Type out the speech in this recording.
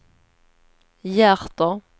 hjärter